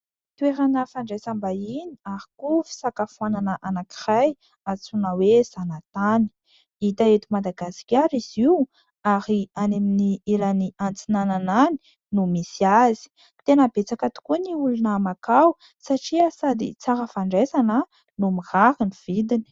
Toerana fandraisam-bahiny ary koa fisakafoanana antsoina hoe: Zanatany. Hita eto madagasikara izy io ary any amin'ny ilany antsinanana any. Tena betsaka tokoa ny olona makao satria sady tsara fandraisana no mirary ny vidiny.